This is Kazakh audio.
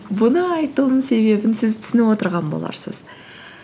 бұны айтуымның себебін сіз түсініп отырған боларсыз